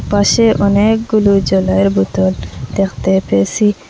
পাশে অনেকগুলো জলের বোতল দেখতে পেয়েসি